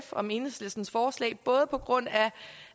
om enhedslistens forslag både på grund af